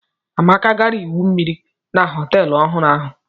Amaka gara igwu mmiri na họtel ọhụrụ ahụ.